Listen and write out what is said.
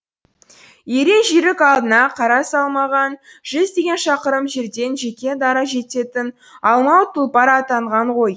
ерен жүйрік алдына қара салмаған жүздеген шақырым жерден жеке дара жететін алмауыт тұлпар атанған ғой